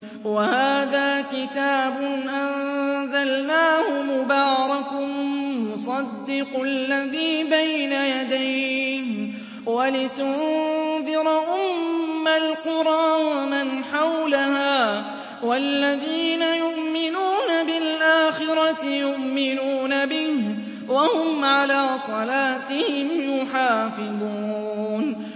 وَهَٰذَا كِتَابٌ أَنزَلْنَاهُ مُبَارَكٌ مُّصَدِّقُ الَّذِي بَيْنَ يَدَيْهِ وَلِتُنذِرَ أُمَّ الْقُرَىٰ وَمَنْ حَوْلَهَا ۚ وَالَّذِينَ يُؤْمِنُونَ بِالْآخِرَةِ يُؤْمِنُونَ بِهِ ۖ وَهُمْ عَلَىٰ صَلَاتِهِمْ يُحَافِظُونَ